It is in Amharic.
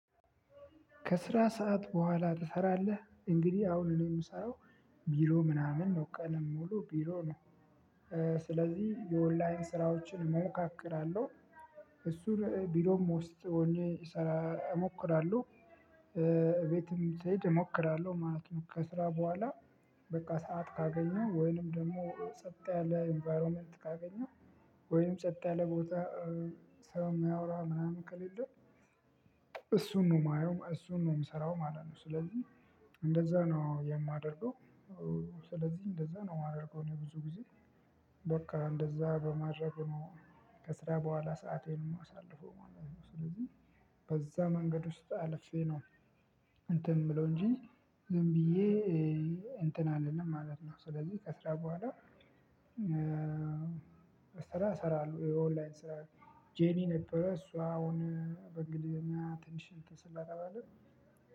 ከስራ ስዓት በኋላ ትሰራለህ? እንግዲህ አሁን ምሰራው ቢሮ ምናምን ነው ቀን ምውለው ቢሮ ነው። ስለዚህ የኦንላይን ስራዎችን እሞካክራለሁ። እሱም ቢሮ ውስጥ ሆኜ እሞክራለሁ። ቤትም ስሄድ እሞክራለሁ ማለት ነው። ከስራ በኋላ በቃ ሰዓት ካገኘሁ ወይንም ደግሞ ጸጥ ያለ ኢንቫይሮመንት ካገኘሁ። ወይም ጸጥ ያለ ቦታ ሰው የማያወራ ምናምን ከሌለ። እሱን ነው የማየው እሱን ነው የምሰራው ማለት ነው። ስለዚህ እንደዛ ነው የማደርገው። ስለዚህ እንደዛ ነው የማደርገው እኔ ብዙ ጊዜ። በቃ እንደዛ በማድረግ ከስራ በኋላ ሰአቴን የማሳልፈው ማለት ነው። ስለዚህ በዛ መንገድ ውስጥ አልፌ ነው። እንትን የምለው እንጂ ዝም ብዬ እንትን አልልም ማለት ነው። ስለዚህ ከስራ በኋላ። ስራ እሰራለሁ የኦንላይን ስራ ጄሚ ነበረ። እሷ አሁን በእንግሊዝኛ ትንሽ እንትን ስለተባለ